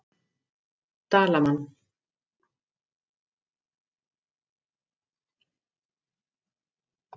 Dalmann